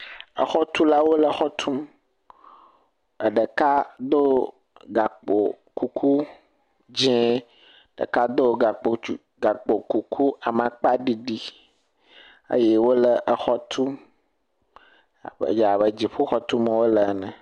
Exɔtulawo le exɔ tum. Eɖeka ɖo gakpo kuku dzie. Ɖeka do gakpo tsu, gakpo kuku amakpaɖiɖi eye wole exɔ tum. Aƒeya ƒe dziƒoxɔ tum wole ene.